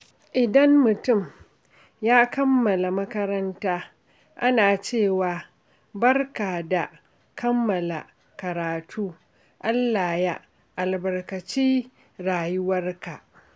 Idan mutum ya kammala makaranta, ana cewa, "Barka da kammala karatu, Allah ya albarkaci rayuwarka."